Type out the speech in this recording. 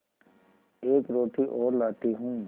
एक रोटी और लाती हूँ